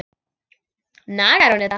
Nagar hún þetta?